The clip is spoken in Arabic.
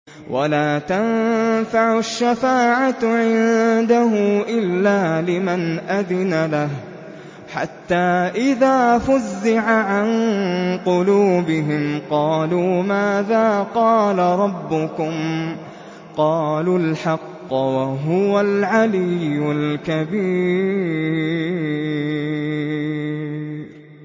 وَلَا تَنفَعُ الشَّفَاعَةُ عِندَهُ إِلَّا لِمَنْ أَذِنَ لَهُ ۚ حَتَّىٰ إِذَا فُزِّعَ عَن قُلُوبِهِمْ قَالُوا مَاذَا قَالَ رَبُّكُمْ ۖ قَالُوا الْحَقَّ ۖ وَهُوَ الْعَلِيُّ الْكَبِيرُ